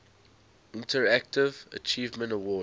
interactive achievement award